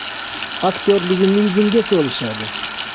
Aktrisaligimni yuzimga solishadi.